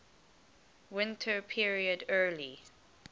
winter period early